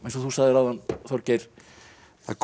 eins og þú sagðir áðan Þorgeir það er